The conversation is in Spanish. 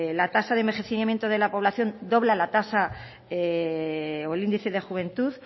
la tasa de envejecimiento de la población dobla la tasa o el índice de juventud